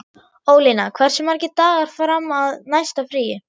Ólína, hversu margir dagar fram að næsta fríi?